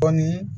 Kɔni